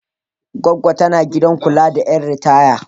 Goggo tana gidan kula da ƴan ritaya.